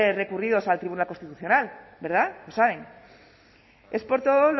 recurridos al tribunal constitucional verdad lo saben es por todo